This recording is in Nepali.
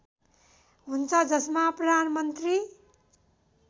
हुन्छ जसमा प्रधानमन्त्री